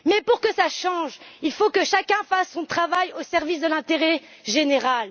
Mais pour que cela change, il faut que chacun fasse son travail au service de l'intérêt général.